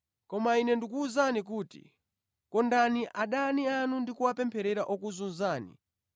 Koma Ine ndikuwuzani kuti, ‘Kondani adani anu ndi kuwapempherera okuzunzani